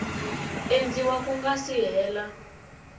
endliwa ku nga si hela